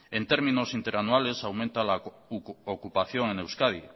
en términos interanuales aumenta la ocupación en euskadi